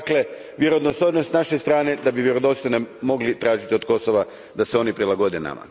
Dakle, vjerodostojnost s naše strane da bi vjerodostojno mogli tražiti od Kosova da se oni prilagode nama.